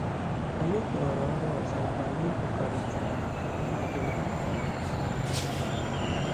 Anyị kewara ọrụ ọzọ mgbe anyị kwekọrịtara na ihe adịla nke ọma.